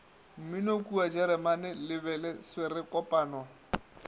mminokua jeremane le bele swerekopano